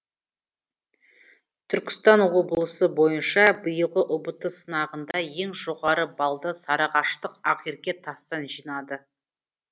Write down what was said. түркістан облысы бойынша биылғы ұбт сынағында ең жоғары баллды сарыағаштық ақерке тастан жинады